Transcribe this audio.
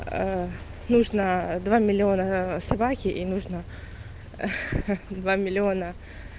нужно два миллиона свахи и нужно а ха два миллиона